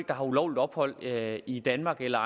der har ulovligt ophold i danmark eller